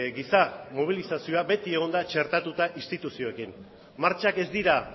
giza mobilizazioa beti egon da txertatuta instituzioekin martxak ez dira